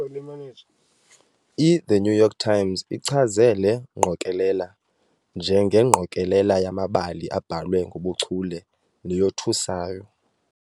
" "IThe New York Times" ichaze le ngqokelela "njengengqokelela yamabali abhalwe ngobuchule neyothusayo".